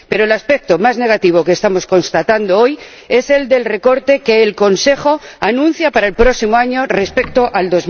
Pero el aspecto más negativo que estamos constatando hoy es el del recorte que el Consejo anuncia para el próximo año con respecto a